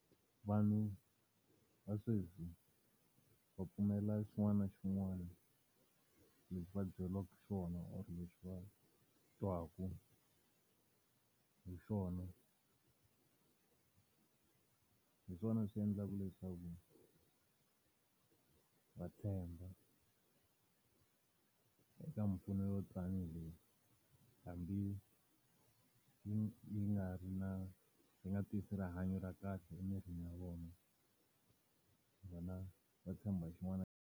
Vanhu va sweswi va pfumela xin'wana na xin'wana lexi va byeriwaka xona or leswi va twaka hi xona. Hi swona swi endlaka leswaku va tshemba eka mpfuno yo ta ni hi leyi. Hambi yi yi nga ri na yi nga tisi rihanyo ra kahle emirini ya vona, vona va tshemba xin'wana .